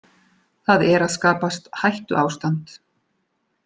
Það er að skapast hættuástand